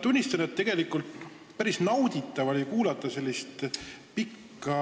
Tunnistan, et tegelikult oli päris nauditav kuulata sellist pikka